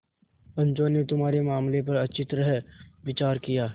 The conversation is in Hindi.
पंचों ने तुम्हारे मामले पर अच्छी तरह विचार किया